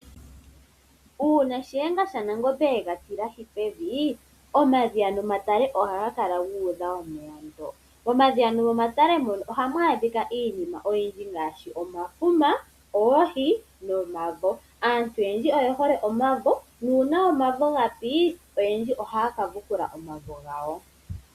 Uuna shiyenga shanangombe yega tilahi pevi, omadhiya nomatale ohaga kala gu udha omeya ndo. Momadhiya nomomatale mono ohamu adhika iinima oyindji ngaashi, omafuma, oohi, nomavo. Aantu oyendji oye hole omavo, nuuna omavo ga pi, oyendji ohaya ka vukula omavo gawo.